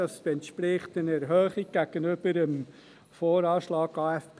Dies entspricht einer Erhöhung gegenüber dem VA und dem Aufgaben-/Finanzplan (AFP)